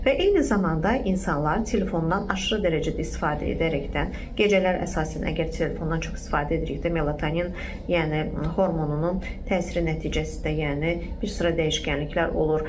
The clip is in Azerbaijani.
Və eyni zamanda insanlar telefondan aşırı dərəcədə istifadə edərək, gecələr əsasən əgər telefondan çox istifadə ediriksə, melatonin, yəni hormonunun təsiri nəticəsində, yəni bir sıra dəyişkənliklər olur.